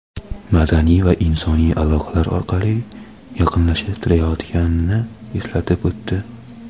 madaniy va insoniy aloqalar orqali yaqinlashtirayotganini eslatib o‘tdi.